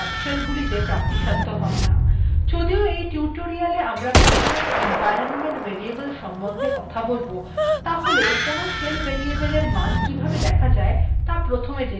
যদিও এই tutorial we আমরা প্রধানত environment variable সম্বন্ধে কথা বলব তাহলেও কোনো shell variable এর মান কিভাবে দেখা যায় ত়া প্রথমে জেনে নেওয়া যাক